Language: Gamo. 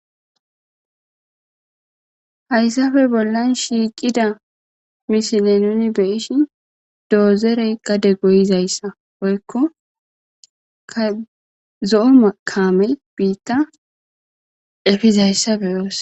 Haysappe bollan shiqida misilen nuni be7ishin dozerey gade goyizaysa woyko ka zo7o camey bitta efizaysa beyos.